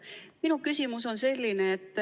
Minu küsimus on selline.